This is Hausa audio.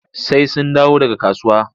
Sai sun dawo daga kasuwa.